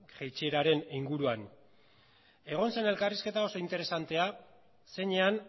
jaitsieraren inguruan egon zen elkarrizketa oso interesantea zeinean